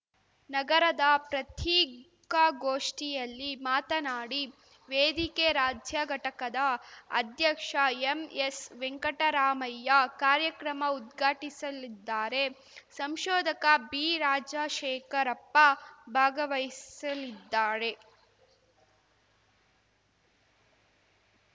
ನಗರದ ಪ್ರತ್ರಿಕಾಗೋಷ್ಠಿಯಲ್ಲಿ ಮಾತನಾಡಿ ವೇದಿಕೆ ರಾಜ್ಯ ಘಟಕದ ಅಧ್ಯಕ್ಷ ಎಂಎಸ್‌ವೆಂಕಟರಾಮಯ್ಯ ಕಾರ್ಯಕ್ರಮ ಉದ್ಘಾಟಿಸಲಿದ್ದಾರೆ ಸಂಶೋಧಕ ಬಿರಾಜಶೇಖರಪ್ಪ ಭಾಗವಹಿಸಲಿದ್ದಾರೆ